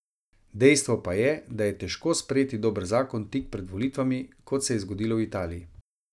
Dejstvo pa je, da je težko sprejeti dober zakon tik pred volitvami, kot se je zgodilo v Italiji.